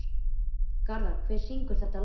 Garðar, hver syngur þetta lag?